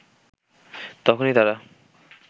তখনই তারা